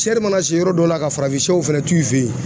mana se yɔrɔ dɔ la ka farafinsɛw fɛnɛ t'u fɛ yen